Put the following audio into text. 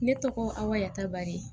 Ne tɔgɔ amayta baari